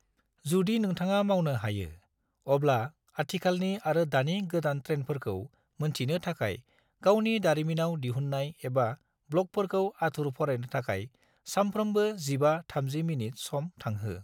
जुदि नोंथाङा मावनो हायो, अब्ला आथिखालनि आरो दानि गोदान ट्रेनफोरखौ मोनथिनो थाखाय गावनि दारिमिनाव दिहुन्नाय एबा ब्लगफोरखौ आथुर फरायनो थाखाय सामफ्रोमबो 15-30 मिनिट सम थांहो।